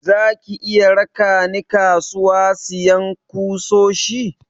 Zaki iya raka ni kasuwa siyan kusoshi?